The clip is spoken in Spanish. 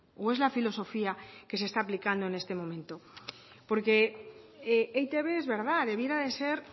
o es la filosofía que se está aplicando en este momento porque eitb es verdad debiera de ser